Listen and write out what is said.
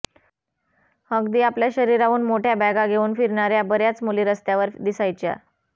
अगदी आपल्या शरीराहून मोठ्या बॅगा घेऊन फिरणाऱ्या बऱ्याच मुली रस्त्यावर दिसायच्या